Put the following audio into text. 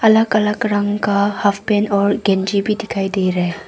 अलग अलग रंग का हॉफ पेंट और गंजी भी दिखाई दे रहा है।